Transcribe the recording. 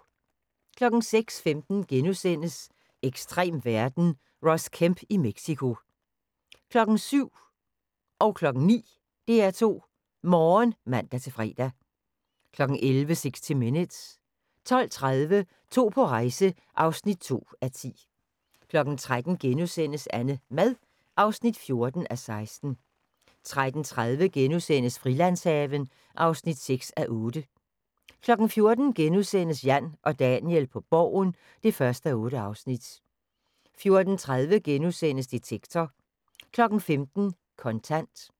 06:15: Ekstrem verden - Ross Kemp i Mexico * 07:00: DR2 Morgen (man-fre) 09:00: DR2 Morgen (man-fre) 11:00: 60 minutes 12:30: To på rejse (2:10) 13:00: AnneMad (14:16)* 13:30: Frilandshaven (6:8)* 14:00: Jan og Daniel på Borgen (1:8)* 14:30: Detektor * 15:00: Kontant